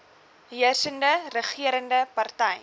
heersende regerende party